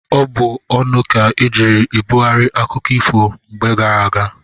Ọ bụ ọnụ ka ejiiri ebughari akụkọ ifo mgbe gara aga.